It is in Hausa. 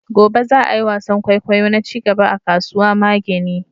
gobe za'a yi wasan kwaikwayo na cigaba a kasuwa mageni